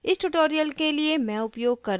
इस tutorial के लिए मैं उपयोग कर रही हूँ